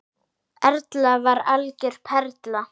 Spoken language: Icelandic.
Erla var algjör perla.